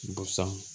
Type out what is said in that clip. Busan